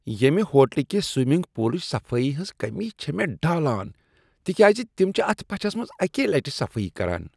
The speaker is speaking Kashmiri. ییمہ ہوٹلہٕ کہ سومنٛگ پولٕچہ صفٲیی ہنٛز کٔمی چھےٚ من ڈالان تکیاز تم چھ اتھ پچھس منٛز اکی لٹہِ صفٲیی کران۔